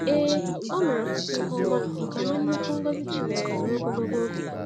Ee, o mere ọtụtụ ihe ọma ma nwee nnukwu ngọzi Chineke ruo ogologo oge.